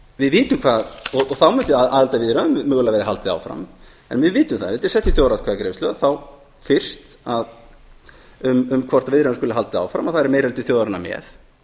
þá mundi aðildarviðræðunum mögulega verða haldið áfram en við vitum það ekki ef þetta er sett í þjóðaratkvæðagreiðsla þá fyrst um hvort viðræðunum skuli haldið áfram og það er meiri hluti þjóðarinnar með